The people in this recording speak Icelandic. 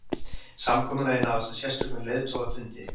Samkomulagið náðist á sérstökum leiðtogafundi